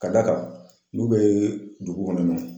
Ka d'a kan n'u bɛ dugu kɔnɔna yen nɔ